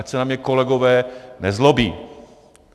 Ať se na mě kolegové nezlobí.